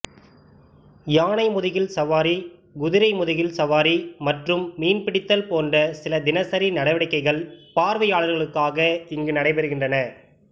யானை முதுகில் சவாரி குதிரை முதுகில் சவாரி மற்றும் மீன்பிடித்தல் போன்ற சில தினசரி நடவடிக்கைகள் பார்வையாளர்களுக்காக இங்கு நடைபெறுகின்றன